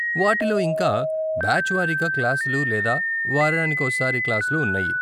వాటిలో ఇంకా, బ్యాచ్ వారీగా క్లాసులు లేదా వారానికోసారి క్లాసులు ఉన్నాయి.